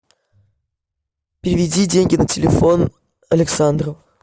переведи деньги на телефон александру